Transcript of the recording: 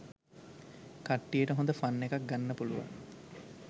කට්ටියට හොඳ ෆන් එකක් ගන්න පුළුවන්